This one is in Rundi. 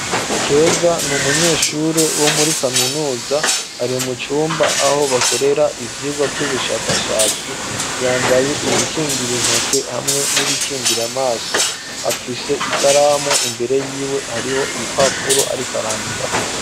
Keza n'umunyeshure wo muri kaminuza, ari mucumba zho bakorera, ivyirwa vy'ubishakashatsi, yambaye ibikingira intoki, n'ibikingir'amaso, afise ikaramu hariho impapuro ariko arandikako.